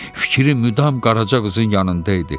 Fikri müdam Qaraca qızın yanında idi.